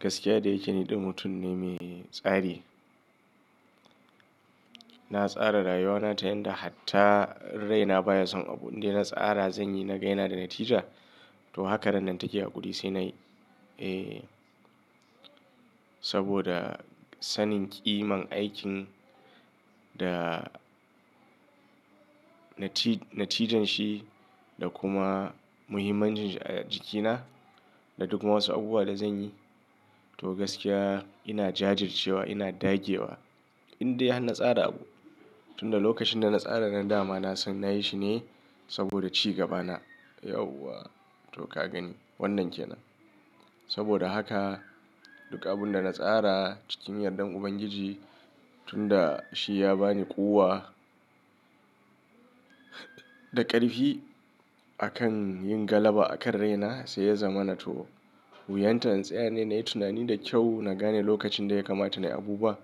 Gaskiya da yake ni ɗan mutum ne mai tsari. Na tsara rayuwana ta yanda hatta raina baya son abu indai na tsara zan yi na ga yanada natija. To haka ran nan take a gudi sai nayi. Eh, saboda sanin ƙiman aikin da nati-natijanshi da kuma muhimmancin shi a jikina da duk ma wasu abubuwa da zan yi. To gaskiya ina jajircewa, ina dage wa indai har na tsara abu. Tun da lokacin da na tsara ran da dama na san nayi shi ne saboda ci gabana. Yauwa to ka gani wannan ke nan. Saboda haka duk abin da na tsara cikin yardan Ubangiji tun da shi ya ba ni ƙuwa da ƙarfi a kan yin galaba a kan raina sai ya zama na to wuyanta in tsaya ne nayi tunani da kyau na gane lokacin da ya kamata nayi abu bua.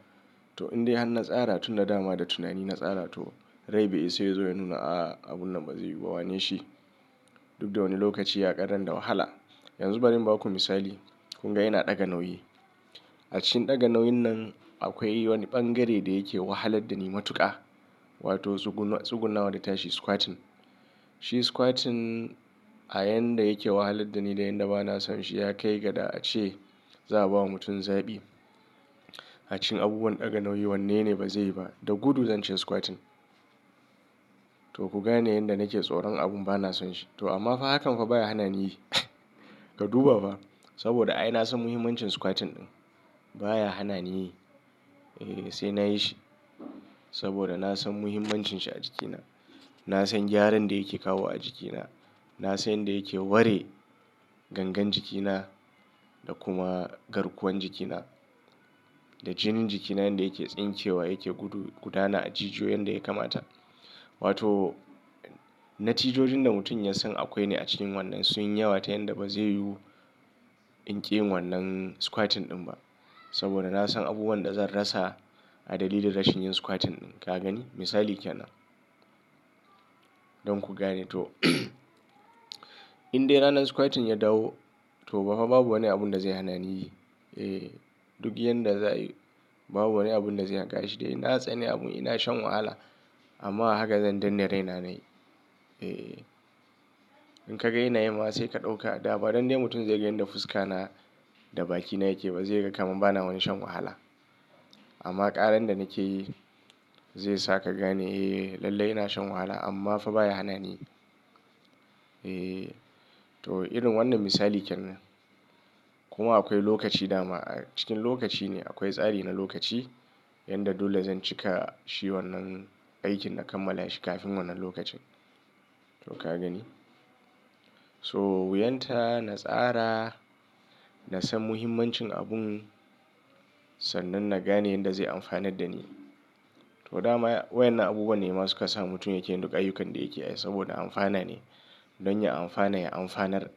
To indai har na tsara tun da dama da tunani na tsara to rai bai isa yazo ya nuna a'a abun nan bazai yiwu ba wane shi duk da wani lokaci ya ƙarren da wahala. Yanzu bari in baku misali. Kun ga ina ɗaga nauyi. A cikin ɗaga nauyin nan akwai wani ɓangare da yake wahalar da ni matuƙa wato zuguna zugunawa da ta shi squatting. Shi squatting a yan da yake wahalar da ni da yan da bana son shi ya kai ga da ace za'a ba wa mutum zaɓi. A cikin abubuwan ɗaga nauyi wane ne bazai ba da gudu zance squatting. To ku gane yanda nake tsoron abun bana son shi. To amma fa hakan fa ba ya hana ni yi ka duba fa saboda ai na san muhimmancin squatting ɗin baya hana ni yi. Eh sai nayi shi saboda na san muhimmancin shi a jikina. Na san gyaran da yake kawo a jikina. Na san yanda yake ware gangan jikina da kuma garkuwan jikina da jinin jikina yanda yake tsincewa yake gudu gudana a jijiyoyi yanda ya kamata. Wato, na jijojin da mutum ya san akwai ne a cikin wannan sun yi yawa ta yanda bazai yiwu in ƙi yin wannan squatting ɗin ba saboda na san abubuwan da zan rasa a dalili da rashin yin squatting ɗin. Ka gani misali ke nan. Don ku gane to indai ranar squatting ya dawo to ba fa babu wani abun da zai hana ni yi. Eh duk yan da za'a yi babu wani abun da zai haƙa shi dai na tsani abun ina shan wahala amma haka zan danna raina nayi. Eh, in ka ga yanayi ma sai ka ɗauka a da ba danne mutum zai gani da fuska na da baki na yake ba zai ga kam ba na wani shan wahala. Amma ƙaran da nake yi zai sa ka gani eh lallai ina shan wahala amma fa baya hana ni yi. Eh to irin wannan misali ke nan. Kuma akwai lokaci dama a cikin lokaci ne akwai tsari na lokaci yanda dole zan cika shi wannan aikin na kammala shi kafin wannan lokacin. To ka gani? So wuyanta na tsara, na san muhimmancin abun sannan na gane yanda zai amfanar da ni. To dama wayan nan abubuwa ne ma suka sa mutum yake yin duk ayyukan da yake yi saboda amfana ne don ya amfana ya amfanar.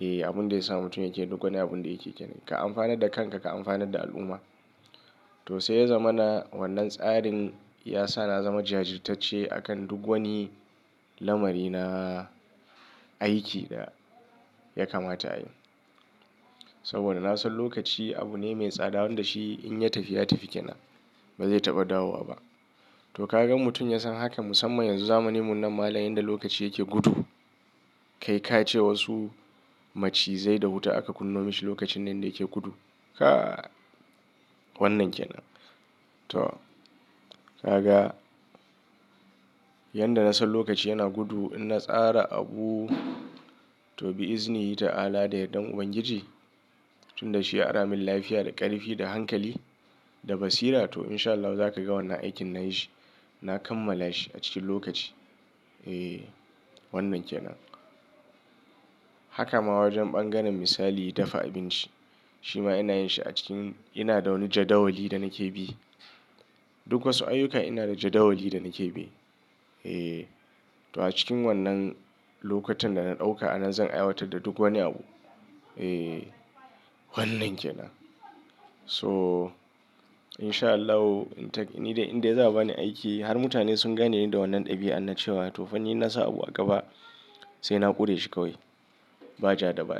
Eh abun zai sa mutum yake duk wani abun da yake yi kenan. Ka amfanar da kanka, ka amfanar da al'umma. To sai ya zamana wannan tsarin ya sa na zama jajirtacce a kan duk wani lamari na aiki da ya kamata ayi. Saboda na san lokaci abu ne mai tsada wanda shi in ya tafi ya tafi ke nan bazai taɓa dawowa ba. To ka gan mutum ya san haka musamman yanzu zamanin mu nan mala'an yanda lokaci yake gudu. Kai ka ce wasu macizai da wuta aka kunnomashi lokacin nan da yake gudu. Kai wannan ke nan. To ka ga? Yan da na san lokaci yana gudu ina tsara abu to bi izini in yita Allah da yardan Ubangiji tun da shi ya ara min lafiya da ƙarfi, da hankali, da basira to in sha Allahu za ka ga wannan aikin nayi shi. Na kammala shi a cikin lokaci. Eh wannan ke nan. Haka ma wajen bangaren misali dafa abinci. Shi ma ina yin shi a cikin ina da wani jadawali da nake bi. Duk wasu ayyuka ina da jadawali da nake bi. Eh to a cikin wannan lokutan da na ɗauka a nan zan aiwatar da duk wani abu. Eh wannan ke nan. So in sha Allahu in ta ƙi ni dai indai za'a ba ni aiki har mutane sun gane ni da wannan ɗabi'a na cewa to fanni nassa abu a gaba sai na ƙure shi kawai ba jada baya.